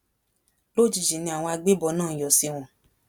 lójijì ni àwọn agbébọn náà yọ sí wọn